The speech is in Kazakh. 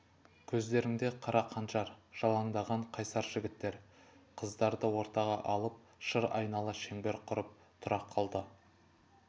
көздеріңде қара қанжар жалаңдаған қайсар жігіттер қыздарды ортаға алып шыр айнала шеңбер құрып тұра қалды